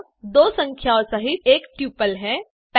यह दो संख्याओं सहित एक ट्यूपल है